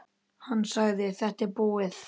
Hann sagði: Þetta er búið.